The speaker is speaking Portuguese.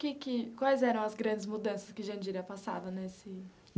Que que quais eram as grandes mudanças que Jandira passava nesse.